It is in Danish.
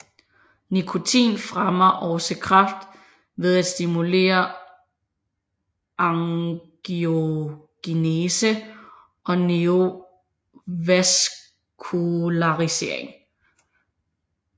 Nikotin fremmer også kræft ved at stimulere angiogenese og neovaskularisering